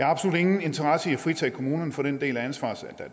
absolut ingen interesse i at fritage kommunerne for den del af ansvaret som